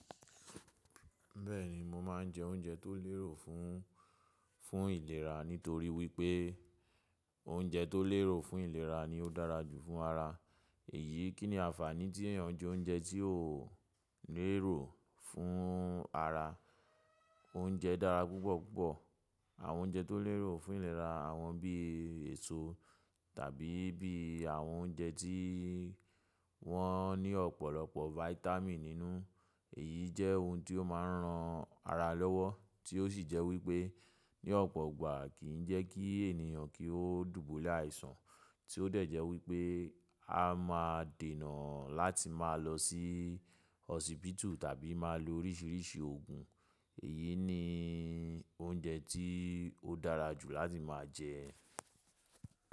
Bẹ́ẹ̀ni, mo máa ń jẹ oúnjẹ tó lérò fún, fún ìlera nítorí wípé oúnjẹ tó lérò fún ìlera ni ó dára jù fún ara. Èyí kí ni àǹfààní tí èèyàn jẹ oúnjẹ tí ó lérò fún ara. Oúnjẹ dára púpọ̀ púpọ̀. Àwọn oúnjẹ tó lérò fún ìlera àwọn bí èso tàbí bí àwọn oúnjẹ tí wọ́n ní ọ̀pọ̀lọpọ̀ vitamin nínú. Èyí jẹ́ ohun tí ó máa ń ran ara lọ́wọ́ tí ó sì jẹ́ wípé ní ọ̀pọ̀ ọ̀gbà kì í jẹ́ kí èniyan kí ó dùbúlẹ̀ àìsàn tí ó dé è jẹ́ wípé a máa dènà láti máa lọ sí hósípítù tàbí máa lo oríṣìíríṣìí òògùn. Èyí ni oúnjẹ tí ó dára jù láti máa jẹ.